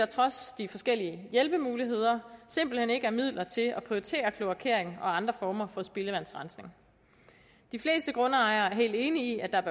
trods de forskellige hjælpemuligheder simpelt hen ikke er midler til at prioritere kloakering og andre former for spildevandsrensning de fleste grundejere er helt enige i at der